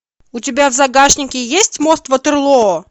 у тебя в загашнике есть мост ватерлоо